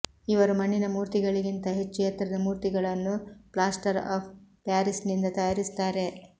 ಇವರು ಮಣ್ಣಿನ ಮೂರ್ತಿಗಳಿಗಿಂತ ಹೆಚ್ಚು ಎತ್ತರದ ಮೂರ್ತಿಗಳನ್ನು ಪ್ಲಾಸ್ಟರ್ ಆಫ್ ಪ್ಯಾರಿಸ್ನಿಂದ ತಯಾರಿಸುತ್ತಾರೆ